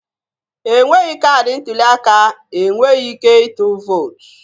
Enweghị kaadị ntuli aka, Enweghị ike itul vutoo